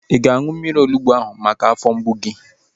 Ị ga-aṅụ mmiri onugbu ahu maka afọ mgbu gị?